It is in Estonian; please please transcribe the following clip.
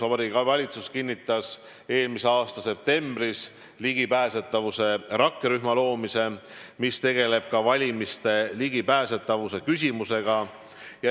Vabariigi Valitsus kinnitas eelmise aasta septembris ligipääsetavuse rakkerühma loomise, mis tegeleb ka valimiste ligipääsetavuse küsimusega.